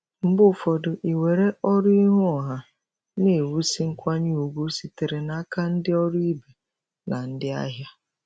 Mgbe ụfọdụ iwere ọrụ n'ihu ọha na-ewusi nkwanye ùgwù sitere n'aka ndị ọrụ ibe na ndị ahịa.